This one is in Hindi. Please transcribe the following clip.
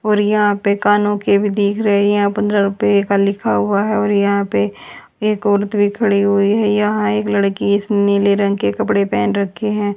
और यहां पे कानों के भी दिख रहे हैं पंद्रह रुपया का लिखा हुआ है और यहां पे एक औरत भी खड़ी हुई है यहां एक लड़की इसमें नीले रंग के कपड़े पहन रखे हैं।